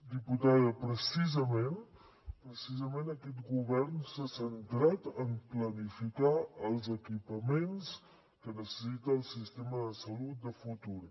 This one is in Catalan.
diputada precisament precisament aquest govern s’ha centrat en planificar els equipaments que necessita el sistema de salut de futur